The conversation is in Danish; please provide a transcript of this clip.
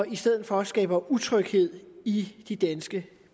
i stedet for skaber utryghed i de danske